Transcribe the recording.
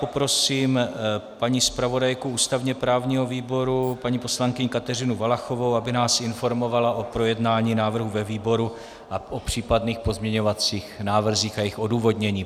Poprosím paní zpravodajku ústavně právního výboru paní poslankyni Kateřinu Valachovou, aby nás informovala o projednání návrhu ve výboru a o případných pozměňovacích návrzích a jejich odůvodnění.